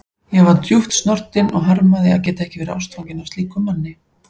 Ég var djúpt snortin og harmaði að geta ekki verið ástfangin af slíkum manni.